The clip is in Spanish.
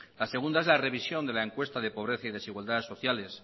la segunda es la revisión de la encuesta de pobreza y desigualdades sociales